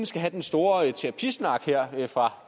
skal have den store terapisnak her fra